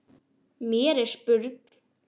Mér er spurn.